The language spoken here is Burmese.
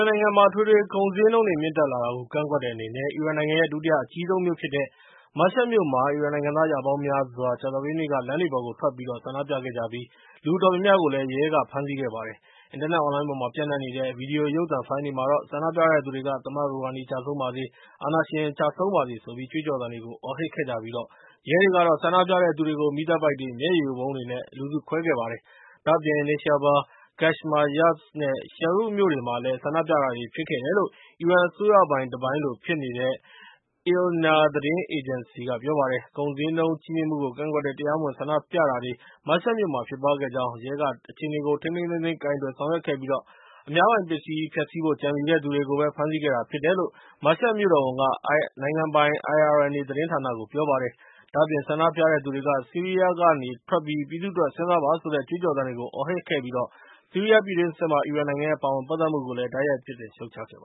န်နိုင်ငံမှာ အထွေထွေကုန်ဈေးနှုန်းတွေမြင့်တက်လာတာကို ကန့်ကွက်တဲ့အနေနဲ့ အီရန်နိုင်ငံရဲ့ ဒုတိယအကြီးဆုံးမြို့ဖြစ်တဲ့ Mashhad မြို့မှာ အီရန်နိုင်ငံသားရာပေါင်းများစွာဟာ ကြာသပတေးနေ့က လမ်းတွေပေါ်ကိုထွက်ဆန္ဒပြခဲ့ကြပြီး၊ လူအတော်များများကို ရဲကဖမ်းဆီးခဲ့ပါတယ်။ အင်တာနက်အွန်လိုင်းပေါ်မှာ ပျံ့နှံနေတဲ့ ဗွီဒီယိုရုပ်သံဖိုင်တွေမှာတော့ - ဆန္ဒပြတဲ့သူတွေက သမ္မတ ရူဟာနီကျဆုံးပါစေ၊ အာဏာရှင် ကျုဆုံးပါစေဆိုပြီး ကြွေးကြော်သံတွေကို အော်ဟစ်ခဲ့ကြပြီး၊ ရဲတွေကတော့ ဆန္ဒပြတဲ့သူတွေကို မီးသတ်ပိုက်တွေ ၊ မျက်ရည်ယိုဗုံးတွေ နဲ့ လူစုခွဲခဲ့ကြပါတယ်။ ဒါ့အပြင် Neyshabour, Kashmar, Yazd, နဲ့ Shahroud မြို့တွေမှာလည်း ဆန္ဒပြတာတွေဖြစ်ခဲ့တယ်လို့ အီရန်အစိုးရပိုင်တပိုင်းလိုဖြစ်နေတဲ့ Ilna သတင်းအေဂျင်စီက ပြောပါတယ်။ကုန်ဈေးနှုန်းကြီးမြှင့်မှုကို ကန့်ကွက်တဲ့ တရားမဝင်ဆန္ဒပြတာတွေ Mashhad မြို့မှာ ဖြစ်ပွားခဲ့ကြောင်း၊ ရဲက ထိန်းထိန်းသိမ်းသိမ်းကိုင်တွယ် ဆောင်ရွက်ခဲ့ပြီး၊ အများပိုင်ပစ္စည်းကို ဖျက်ဆီးဖို့ ကြံစည်တဲ့သူတွေကိုပဲ ဖမ်းဆီးခဲ့တယ်လို့ Mashhad မြို့တော်ဝန် Mohammad Rahim Norozian က နိုင်ငံပိုင် IRNA သတင်းဌာနကို ပြောပါတယ်။ ဒါ့အပြင် ဆန္ဒပြတဲ့သူတွေက ဆီးရီးယားကထွက်ပြီး၊ ပြည်သူတွေအတွက် စဉ်းစားပါဆိုတဲ့ ကြွေးကြော်သံတွေကို အော်ဟစ်ပြီး၊ ဆီးရီးယားပြည်တွင်းစစ်မှာ အီရန်နိုင်ငံပါဝင်ပတ်သက်မှုကိုလည်း တိုက်ရိုက်ပြစ်တင်ရှုတ်ချလိုက်ပ